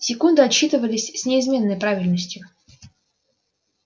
секунды отсчитывались с неизменной правильностью